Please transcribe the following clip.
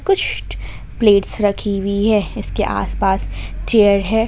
कुछ प्लेट्स रखी हुई है इसके आस पास चेयर है।